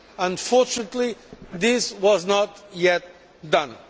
Unfortunately this has not yet been done.